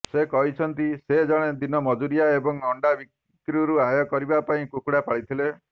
ସେ କହିଛନ୍ତି ସେ ଜଣେ ଦିନ ମଜୁରିଆ ଏବଂ ଅଣ୍ଡା ବିକ୍ରିରୁ ଆୟ କରିବା ପାଇଁ କୁକୁଡ଼ା ପାଳିଥିଲେ